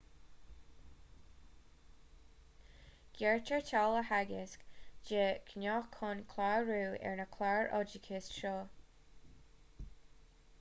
gearrtar táille theagaisc de ghnáth chun clárú ar na cláir oideachais seo